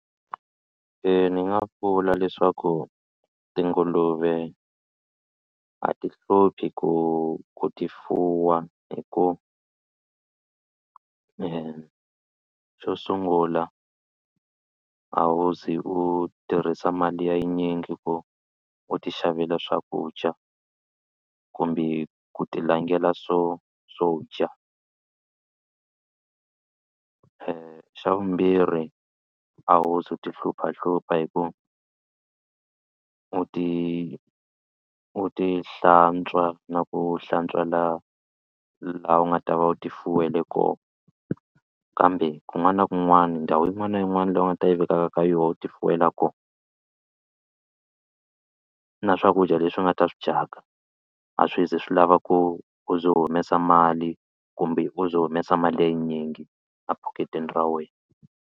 Ni nga vula leswaku tinguluve a ti hluphi ku ku ti fuwa hi ku xo sungula a wo ze u tirhisa mali ya yinyingi ku u ti xavela swakudya kumbe ku ti langela swo swo dya xa vumbirhi a wu zi u tihluphahlupha hi ku u ti u ti hlantswa na ku hlantswa la laha u nga ta va u ti fuwela kona kambe kun'wana na kun'wana ndhawu yin'wana na yin'wana leyi u nga ta yi vekaka ka yona u ti fuwela kona na swakudya leswi nga ta swi dyaka a swi ze swi lava ku u ze u humesa mali kumbe u ze u humesa mali ya yinyingi ephakitini ra wena.